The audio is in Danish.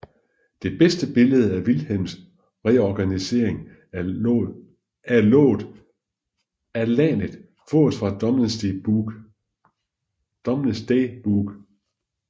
Det bedste billede af Vilhelms reorganisering af landet fås af Domesday Book